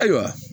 Ayiwa